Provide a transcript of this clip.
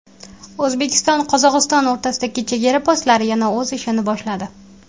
O‘zbekistonQozog‘iston o‘rtasidagi chegara postlari yana o‘z ishini boshladi.